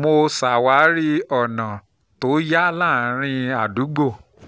mo ṣàwárí ọ̀nà tó yá láàárín àdúgbò